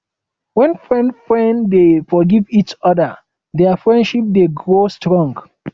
wen friends friends dey forgive each oda dia friendship dey grow strong